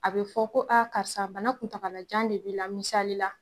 A bɛ fɔ ko aa karisa bana kuntaalajan de b'i la misali la